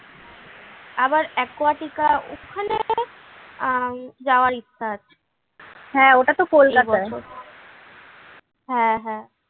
আবার aquatica ওখানে আহ যাওয়ার ইচ্ছা আছে হ্যাঁ হ্যাঁ।